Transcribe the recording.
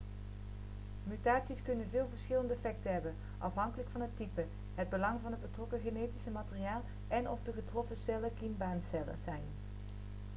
mutaties kunnen veel verschillende effecten hebben afhankelijk van het type het belang van het betrokken genetische materiaal en of de getroffen cellen kiembaancellen zijn